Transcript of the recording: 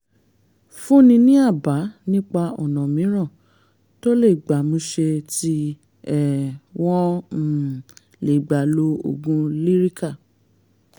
fúnni ní àbá nípa ọ̀nà mìíràn tó gbámúṣé tí um wọ́n um lè gbà lo oògùn lyrica